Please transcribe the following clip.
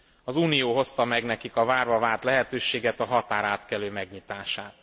Az Unió hozta meg nekik a várva várt lehetőséget, a határátkelő megnyitását.